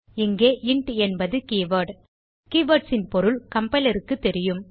இங்கே இன்ட் என்பது keyword keywords ன் பொருள் கம்பைலர் க்குத் தெரியும்